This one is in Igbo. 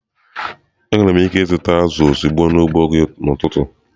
Enwere m ike ịzụta azụ̀ ozugbo n'ugbo gị n'ụtụtụ?